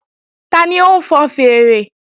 Tani ń fọn fèèrè?